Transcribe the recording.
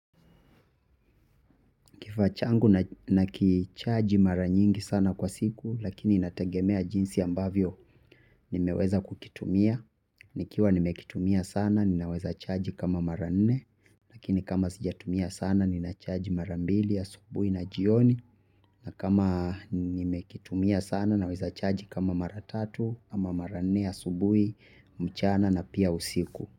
Kifaa changu nakichaji mara nyingi sana kwa siku lakini inategemea jinsi ambavyo nimeweza kukitumia. Nikiwa nimekitumia sana ninaweza chaji kama mara nne. Lakini kama sijatumia sana ninachaji mara mbili asubuhi na jioni. Na kama nimekitumia sana naweza chaji kama mara tatu ama mara nne asubuhi mchana na pia usiku.